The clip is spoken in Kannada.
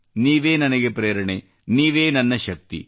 ನೀವೇ ನನಗೆ ಪ್ರೇರಣೆ ನೀವೇ ನನ್ನ ಶಕ್ತಿ